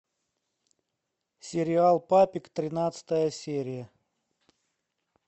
сериал папик тринадцатая серия